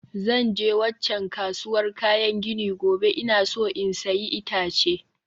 Zan je waccan kasuwar kayan gini gobe, ina so in sayi itace